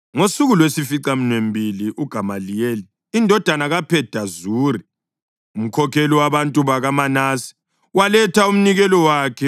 Ngosuku lwesificaminwembili uGamaliyeli indodana kaPhedazuri, umkhokheli wabantu bakaManase, waletha umnikelo wakhe.